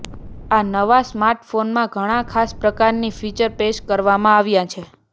આ નવા સ્માર્ટફોનમાં ઘણા ખાસ પ્રકારની ફીચર પેશ કરવામાં આવ્યા છે